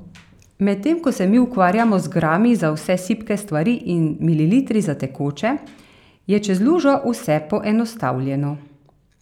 Medtem ko se mi ukvarjamo z grami za vse sipke stvari in mililitri za tekoče, je čez lužo vse poenostavljeno.